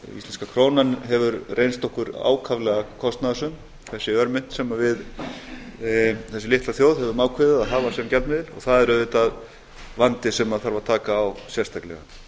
íslenska krónan hefur reynst okkur þessi ákaflega kostnaðarsöm þessi örmynt sem þessi litla þjóð hefur ákveðið að hafa sem gjaldmiðil og það er auðvitað vandi sem þarf að taka á sérstaklega